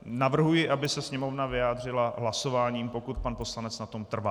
Navrhuji, aby se Sněmovna vyjádřila hlasováním, pokud pan poslanec na tom trvá.